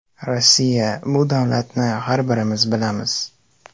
Rossiya bu davlatni har birimiz bilamiz.